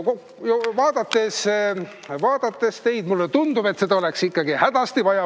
Vaadates teid mulle tundub, et seda oleks ikkagi hädasti vaja.